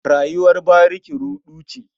Rayuwar bariki ruɗu ce.